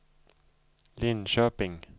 Linköping